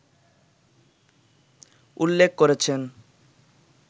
উল্লেখ করেছেন